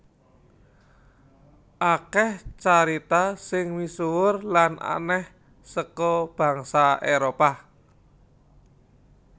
Akeh carita sing misuwur lan aneh saka bangsa Éropah